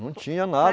Não tinha nada.